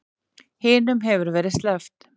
Hinum hefur verið sleppt